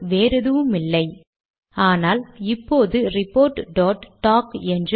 நான் சற்று இங்கு வந்து